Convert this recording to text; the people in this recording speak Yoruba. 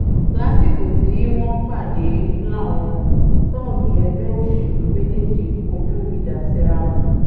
lásìkò tí wọ́n pàdé làwọn tóógì ẹgbẹ́ òṣèlú méjèèjì kọjú ìjà síra wọn